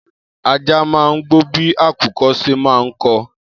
Ajá má ń gbó bí àkùko ṣe má ń ko